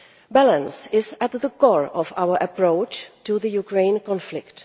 Balance is at the core of our approach to the Ukraine conflict.